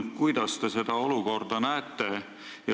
Kuidas te seda olukorda näete?